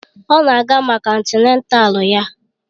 Ọ na-aga maka antịnátál ya